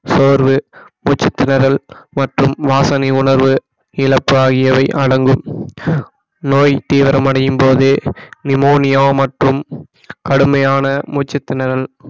சோர்வு மூச்சுத்திணறல் மற்றும் வாசனை உணர்வு இழப்பு ஆகியவை அடங்கும் நோய் தீவிரமடையும் போது நிமோனியா மற்றும் கடுமையான மூச்சுத்திணறல்